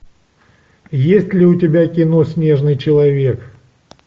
есть ли у тебя кино снежный человек